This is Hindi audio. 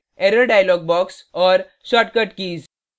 shortcut keys